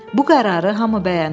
Bu qərarı hamı bəyəndi.